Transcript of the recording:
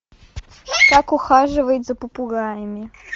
как ухаживать за попугаями